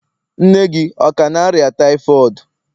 Nne gị ọ ka na-arịa typhoid?